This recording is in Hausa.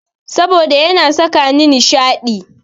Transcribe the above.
Saboda yana sakani nishaɗi.